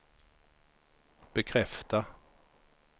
bekräfta